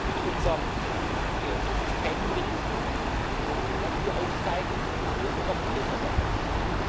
Mit unserer Ausgabenbilanz werden wir aufzeigen, wo wir noch besser werden können.